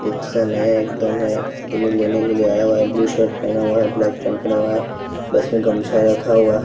एक सा नया एकदम है आदमी आया हुआ है ब्लू शर्ट पहना हुआ है ब्लैक पैंट पहना हुआ है प्लस में गमछा रखा हुआ है।